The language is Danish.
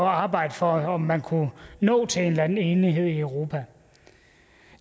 arbejde for om man kunne nå til en eller anden enighed i europa